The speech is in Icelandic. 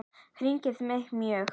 Það hryggir mig mjög.